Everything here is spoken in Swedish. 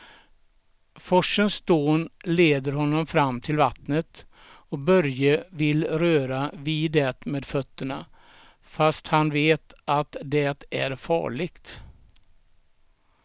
Forsens dån leder honom fram till vattnet och Börje vill röra vid det med fötterna, fast han vet att det är farligt.